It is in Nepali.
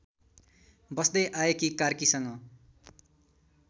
बस्दै आएकी कार्कीसँग